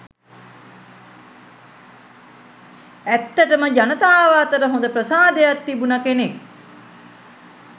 ඇත්තටම ජනතාව අතර හොඳ ප්‍රසාදයක් තිබුණ කෙනෙක්.